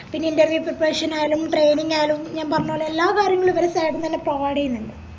പിന്നെ interview preparation ആയാലും training ആയാലും ഞാൻ പറഞ്ഞപോലെ എല്ലാ കാര്യങ്ങളും ഇവരെ side ന്നന്നെ provide ചെയ്യന്നിണ്ട്